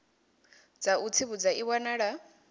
dza u tsivhudza i wanala